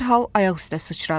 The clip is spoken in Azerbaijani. Dərhal ayaq üstə sıçradı.